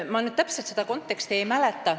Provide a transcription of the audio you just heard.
Ma nüüd täpselt seda konteksti ei mäleta.